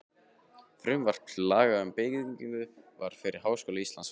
Frumvarp til laga um byggingu fyrir Háskóla Íslands, frá